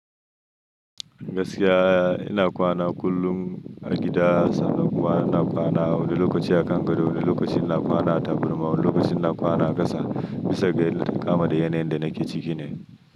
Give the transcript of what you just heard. Gaskiya ina kwana kullum a gida sanda kuwa ina kwana a wani lokaci a kan gado, wani lokaci ina kwana a taburma, wani lokaci ina kwana a gasa bisa ga kama da yanayin da nake ciki ne.